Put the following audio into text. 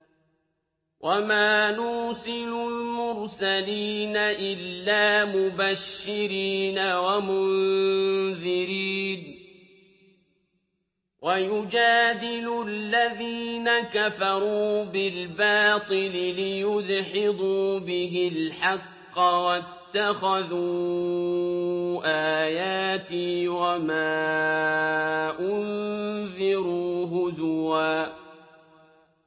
وَمَا نُرْسِلُ الْمُرْسَلِينَ إِلَّا مُبَشِّرِينَ وَمُنذِرِينَ ۚ وَيُجَادِلُ الَّذِينَ كَفَرُوا بِالْبَاطِلِ لِيُدْحِضُوا بِهِ الْحَقَّ ۖ وَاتَّخَذُوا آيَاتِي وَمَا أُنذِرُوا هُزُوًا